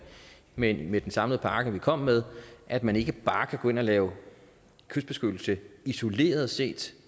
men med den samlede pakke som vi kom med at man ikke bare kan gå ind og lave kystbeskyttelse isoleret set